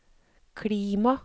klima